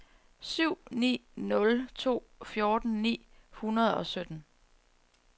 syv ni nul to fjorten ni hundrede og sytten